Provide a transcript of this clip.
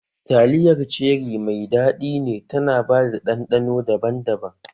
Taliyar ceri mai daɗi ne tana ba da ɗanɗano daban-daban